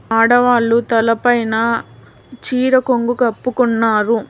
ఆడవాళ్లు తలపైన చీర కొంగు కప్పుకున్నారు.